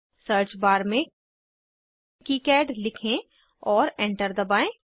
search tab में KiCad लिखें और एंटर दबाएं